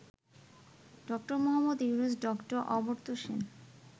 ড: মুহাম্মদ ইউনূস, ড: অমর্ত্য সেন